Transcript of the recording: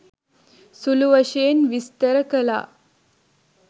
සුළුවශයෙන් විස්තර කළා